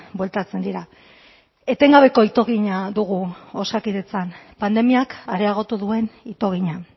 bueltatzen dira etengabeko itogina dugu osakidetzan pandemiak areagotu duen itogina